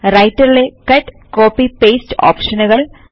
writer ലെ cut copy paste ഓപ്ഷനുകൾ